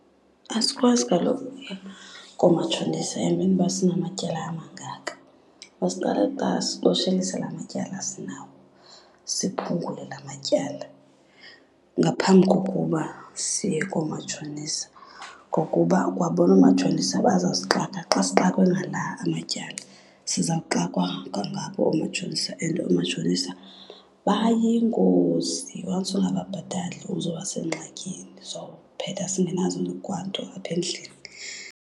Asikwazi kaloku ukuya koomatshonisa emveni uba sinamatyala amangaka. Masiqale kuqala siqoshelise la mantyala sinawo, siphungule la matyala ngaphambi kokuba siye koomatshonisa. Ngokuba kwabona oomatshonisa bazasixaka xa sixakwe ngala amatyala, sizawuxakwa kwangabo oomatshonisa. And oomatshonisa bayingozi, once ungababhatali uzoba sengxakini. Sowuphetha singenazo kwanto apha endlini.